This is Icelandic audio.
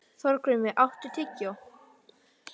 Þorgrímur, áttu tyggjó?